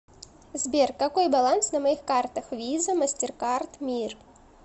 сбер какой баланс на моих картах виза мастеркард мир